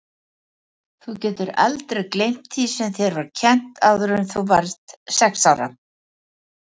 Þú getur aldrei gleymt því sem þér var kennt áður en þú varðst sex ára.